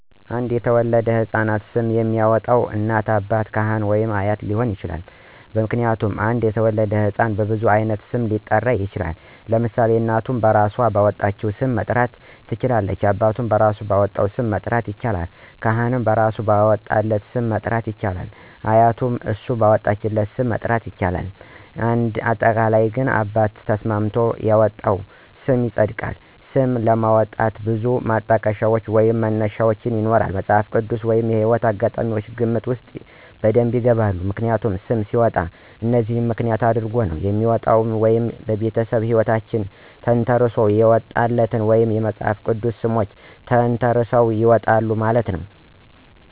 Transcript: አዲስ ለተወለደው ሕፃን ስም የሚያወጣው እናት፣ አባት፣ ካህን ወይም አያት ሊሆን ይችላል። ምክንያቱም አንድ የተወለደ ህፃን በብዙ አይነት ስም ሊኖረው ይችላል ለምሳሌ እናቱም እራሶ ባወጣቸው ሰም መጥራት ትችላለች አባቱም እራሱ ባወጣው ስም መጥራት ይችላለል ካህኑም እራሱ ባወጣለት ስም መጥራት ይችላል አያቱም እሱ ባወጣለት ስ??? ም መጥራት ይችላል እንደ አጠቃላይ እናት አባት ተስማምተው ያወጡት ስም ይፀድቃል። ስም ለማውጣት ብዙ ማጠቀሻ ወይም መነሻዎች ይኖራሉ መፅሃፍ ቅድስ ወይም የህይወት አጋጣሚ ግምት ውስጥ በደብ ይገባል። ምክንያቱም ሰም ሲወጣ እነዚህን ምክንያት አድረጎ ነው የሚወጣው ወይ ቤተሰቦቹ ሕይወታቸውን ተንተረሰው ያውጣሉ ወይም የመፅሐፍ ቅድስ ሰሞችን ተንተራሰው ያወጣሉ ማለት ነው።